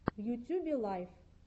в ютьюбе лайф